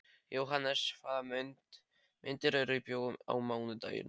Jóhannes, hvaða myndir eru í bíó á mánudaginn?